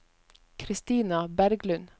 Kristina Berglund